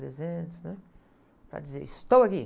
trezentos, né? Para dizer, estou aqui.